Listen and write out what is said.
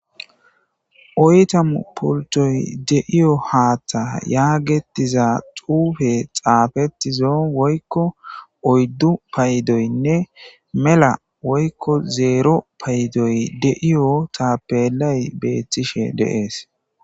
oytamu pultoy deiyo haaththa yaagetiza xuufe xaafetizo woykko oyddu paydoynne mela woykko zeero payidoy deiyo taapelay beethtishe de7es